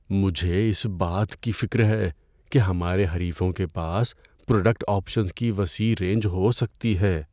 مجھے اس بات کی فکر ہے کہ ہمارے حریفوں کے پاس پروڈکٹ آپشنز کی وسیع رینج ہو سکتی ہے۔